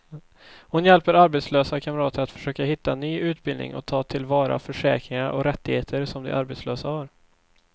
Hon hjälper arbetslösa kamrater att försöka hitta ny utbildning och ta till vara försäkringar och rättigheter som de som arbetslösa har.